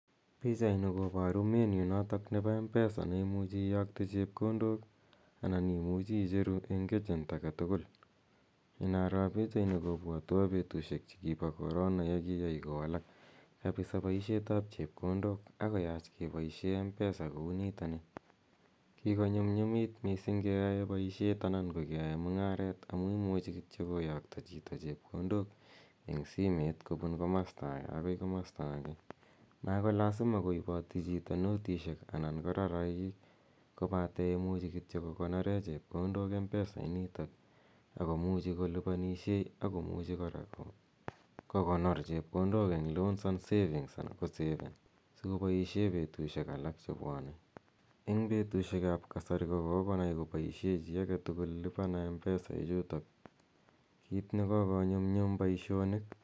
Pichaini koboru menu notok nebo mpesa neimuche iyokte chepkondok anan imuchi icheru en agent aketukul, inaroo pichaini kobwotwon betushek chekibo korona yekikai kowalak kabisaa boishetab chepkondok akoyach keboishen mpesa kouniton nii, kikonyumnyumit mising ing'eyoe boishet anan keyoe mung'aret amun imuchi kityok koyokto chito chepkondok en simeit kobun komosto akee akoi komosto akee, makolasima koiboti chito notishek ana ko rarakik kobaten imuch kokoneren kityok chepkondok mpesa initok akomuchi koliponishen akomuchi kora kokonor chepkondok koboishen loans and savings anan kosefen sikopoishen en betushek alak chebwone eng betushekab kasari kokonai koboishen chii aketukul lipa na mpesa ichutok kiit nekokonyumnyum boishonik.